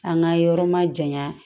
An ka yɔrɔ ma janya